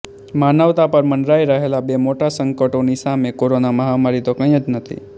માનવતા પર મંડરાઈ રહેલા બે મોટા સંકટોની સામે કોરોના મહામારી તો કઈ જ નથી